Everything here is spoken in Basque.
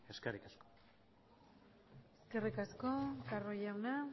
eskerrik asko eskerrik asko carro jauna